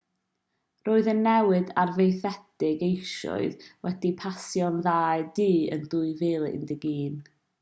roedd y newid arfaethedig eisoes wedi pasio'r ddau dŷ yn 2011